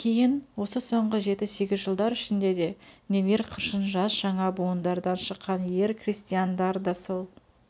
ал кейін осы соңғы жеті-сегіз жылдар ішінде де нелер қыршын жас жаңа буындардан шыққан ер крестьяндар да сол